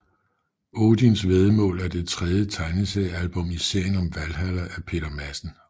Odisn væddemål er det tredje tegneseriealbum i serien om Valhalla af Peter Madsen